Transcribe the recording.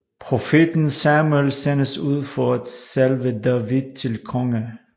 Profeten Samuel sendes ud for at salve David til konge